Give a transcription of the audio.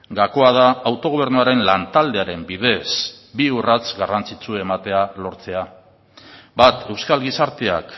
gakoa da autogobernuaren lantaldearen bidez bi urrats garrantzitsu ematea lortzea bat euskal gizarteak